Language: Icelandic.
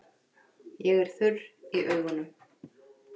Ég er þurr í augunum.